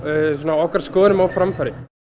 okkar skoðunum á framfæri